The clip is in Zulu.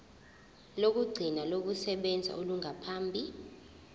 lokugcina lokusebenza olungaphambi